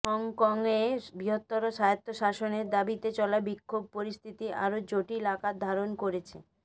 হংকংয়ে বৃহত্তর স্বায়ত্বশাসনের দাবিতে চলা বিক্ষোভ পরিস্থিতি আরো জটিল আকার ধারণ করেছে